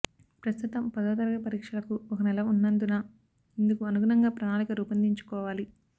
ప్రస్తుతం పదో తరగతి పరీక్షలకు ఒక నెల ఉన్నందున ఇందుకు అనుగుణంగా ప్రణాళిక రూపొందించుకోవాలి